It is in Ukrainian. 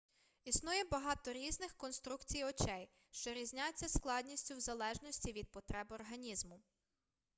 існує багато різних конструкцій очей що різняться складністю в залежності від потреб організму